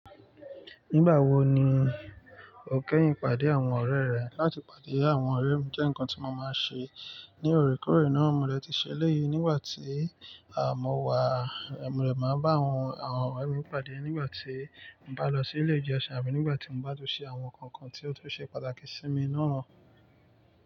Nígbàwo ni o kẹ́yìn pàdé àwọn ọ̀rẹ́ rẹ? Látì pàdé àwọn ọ̀rẹ́ mi jẹ́ ǹkan tí mo máa ń ṣe ní òrékòrè náà. Mò dè ti ṣẹle yìí nígbà tí a mo wà. Mò de máa bá àwọn ọ̀rẹ́ mi pàdé nígbà tí mo bá lọ sí ilé ìjọsìn àbí nígbà tí n bá tún ṣe àwọn ǹkan kan tí ó tún ṣe pàtàkì sí mi náà.